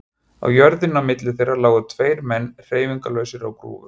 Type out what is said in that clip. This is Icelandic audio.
Á jörðinni á milli þeirra lágu tveir menn hreyfingarlausir á grúfu.